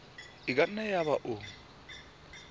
e ka nna yaba o